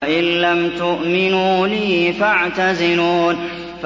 وَإِن لَّمْ تُؤْمِنُوا لِي فَاعْتَزِلُونِ